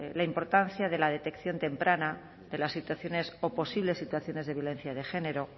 la importancia de la detección temprana de las situaciones o posibles situaciones de violencia de género